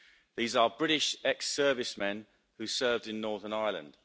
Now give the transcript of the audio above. These are British ex servicemen who served in Northern Ireland.